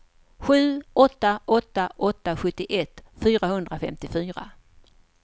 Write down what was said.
sju åtta åtta åtta sjuttioett fyrahundrafemtiofyra